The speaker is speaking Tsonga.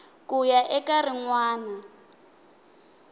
ku ya eka rin wana